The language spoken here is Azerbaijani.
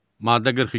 Maddə 42.